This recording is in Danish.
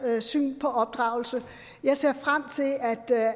syn på opdragelse jeg ser frem til